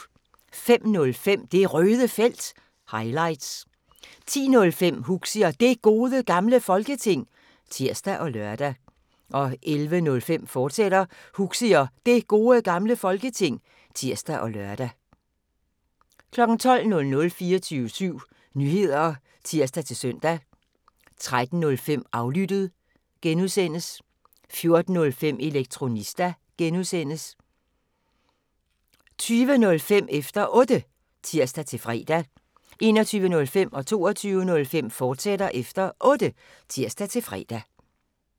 05:05: Det Røde Felt – highlights 10:05: Huxi og Det Gode Gamle Folketing (tir og lør) 11:05: Huxi og Det Gode Gamle Folketing, fortsat (tir og lør) 12:00: 24syv Nyheder (tir-søn) 13:05: Aflyttet (G) 14:05: Elektronista (G) 20:05: Efter Otte (tir-fre) 21:05: Efter Otte, fortsat (tir-fre) 22:05: Efter Otte, fortsat (tir-fre)